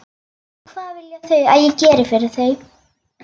Og hvað vilja þau að ég geri fyrir þau?